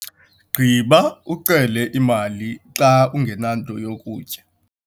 Gqiba, ucele imali xa ungenanto yokutya